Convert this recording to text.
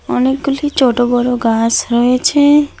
অনেকগুলি ছোট বড় গাছ রয়েছে।